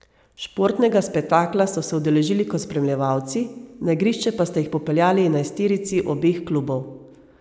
Športnega spektakla so se udeležili kot spremljevalci, na igrišče pa sta jih popeljali enajsterici obeh klubov.